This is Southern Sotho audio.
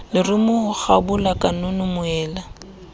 lerumo ho kgabola kanono moela